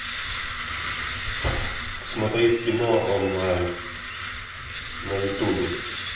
смотреть кино онлайн на ютубе